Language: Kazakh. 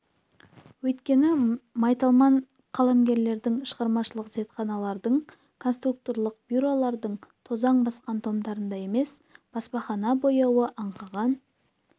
өйткені майталман қаламгерлердің шығармашылық зертханалардың конструкторлық бюролардың тозаң басқан томдарында емес баспахана бояуы аңқыған